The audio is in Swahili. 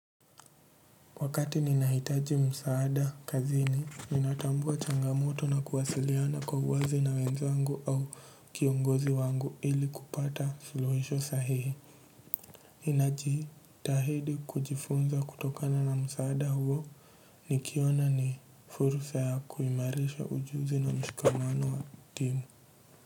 Wakati nina hitaji msaada kazini, ninatambua changa moto na kuwasiliana kwa uwazi na wenzangu au kiongozi wangu ili kupata suluhisho sahihi. Ninaji tahidi kujifunza kutokana na msaada huo nikiona ni fursa ya kuimarisha ujuzi na mshikamano wa timu.